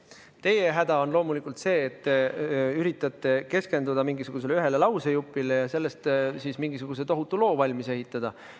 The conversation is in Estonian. Teie häda on loomulikult see, et te üritate keskenduda mingisugusele ühele lausejupile ja sellest siis mingisuguse tohutu loo valmis ehitada.